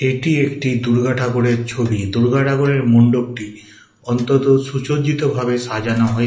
এটি একটি দুর্গাঠাকুরের ছবি দূর্গা ঠাকুরের মণ্ডপটি অন্তত সুসজ্জিত ভাবে সাজানো হয়ে--